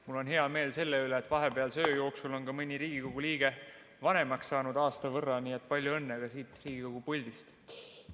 Mul on hea meel selle üle, et vahepealse öö jooksul on ka mõni Riigikogu liige aasta võrra vanemaks saanud, nii et palju õnne ka siit Riigikogu puldist.